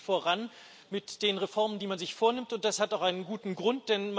Es geht nicht voran mit den Reformen, die man sich vornimmt, und das hat auch einen guten Grund.